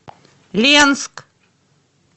ленск